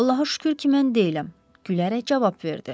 Allaha şükür ki, mən deyiləm, gülərək cavab verdi.